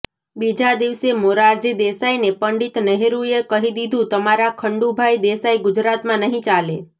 બીજા દિવસે મોરારજી દેસાઈને પંડિત નહેરુએ કહી દીધું તમારા ખંડુભાઈ દેસાઈ ગુજરાતમાં નહીં ચાલે